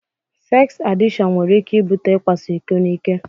Seks adikshon nwere ike ibute ikwaso iko n'ike.